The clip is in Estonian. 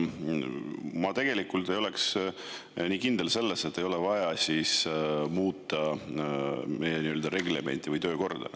Ma ei oleks selles nii kindel, et ei ole vaja muuta meie reglementi või töökorda.